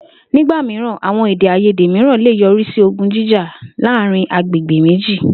Nígbà mìíràn, àwo̩n èdè-àìyédè mìíràn lè yo̩rí sí ogun jíjà láàárín agbègbè méjì